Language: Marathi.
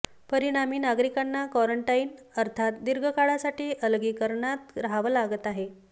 परिणामी नागरिकांना क्वारंटाईन अर्थाच दीर्घ काळासाठी अलगीकरणात रहावं लागत आहे